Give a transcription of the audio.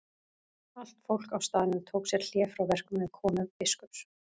Allt fólk á staðnum tók sér hlé frá verkum við komu biskups.